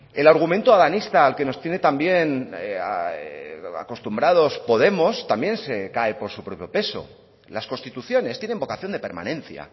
el argumento adanista al que nos tiene también acostumbrados podemos también se cae por su propio peso las constituciones tienen vocación de permanencia